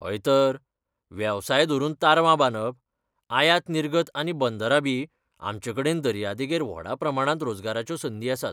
हय तर! वेवसाय धरून तारवां बांदप, आयात निर्गत आनी बंदरां बी, आमचेकडेन दर्यादेगेर व्हडा प्रमाणांत रोजगाराच्यो संदी आसात.